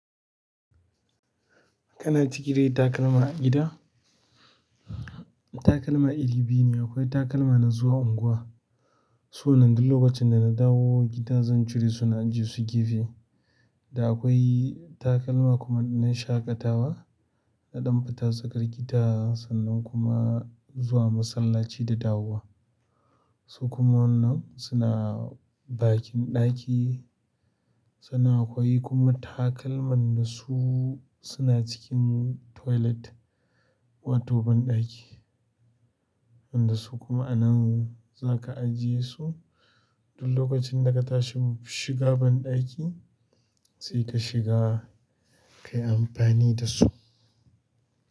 Kana ciki dai takalma a gida? Takalma iri biyu ne, akwai takalma na zuwa unguwa. To nan duk lokacin da na dawo gida zan cire su na ajiye su gefe. Da akwai takalma kuma na shaƙatawa, na damfita tsakar gida sannan kuma zuwa masallaci da dawowa. Su kuma wannan suna bakin ɗaki, sannan akwai kuma takalman da su suna cikin toilet wato banɗaki. Wanda su kuma a nan za ka ajiye su duk lokacin da ka tashi shiga banɗaki sai ka shiga ka yi amfani da su.